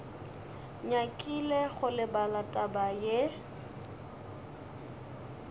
nyakile go lebala taba ye